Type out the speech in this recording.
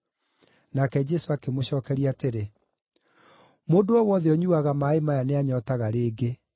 Nake Jesũ akĩmũcookeria atĩrĩ, “Mũndũ o wothe ũnyuuaga maaĩ maya nĩanyootaga rĩngĩ,